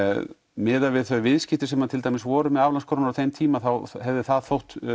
miðað við þau viðskipti sem voru með aflandskrónum á þeim tíma þá hefði það þótt